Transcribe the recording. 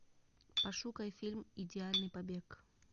пошукай фильм идеальный побег